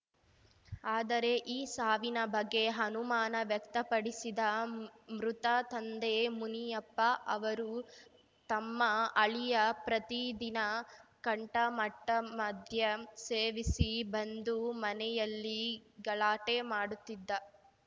ಆದರೆ ಈ ಸಾವಿನ ಬಗ್ಗೆ ಅನುಮಾನ ವ್ಯಕ್ತಪಡಿಸಿದ ಮೃತ ತಂದೆ ಮುನಿಯಪ್ಪ ಅವರು ತಮ್ಮ ಅಳಿಯ ಪ್ರತಿ ದಿನ ಕಂಠಮಟ್ಟಮದ್ಯ ಸೇವಿಸಿ ಬಂದು ಮನೆಯಲ್ಲಿ ಗಲಾಟೆ ಮಾಡುತ್ತಿದ್ದ